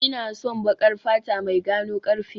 Ina son baƙar fata mai gano karfe